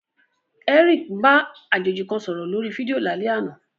Eric ń bá àjèjì kan sọ̀rọ̀ lórí fídíò lálẹ́ àná.